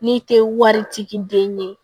N'i tɛ wari ci den ye